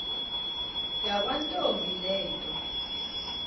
yakwantombi le nto